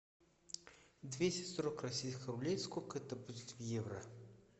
двести сорок российских рублей сколько это будет в евро